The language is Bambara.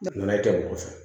Nanaye tɛ mɔgɔ fɛ